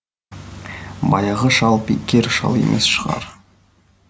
баяғы шал бекер шал емес шығар